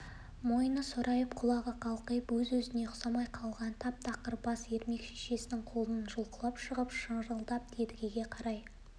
мойны сорайып құлағы қалқайып өзіне-өзі ұқсамай қалған тап тақыр бас ермек шешесінің қолынан жұлқынып шығып шырылдап едігеге қарай